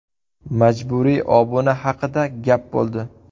Majburiy obuna haqida gap bo‘ldi.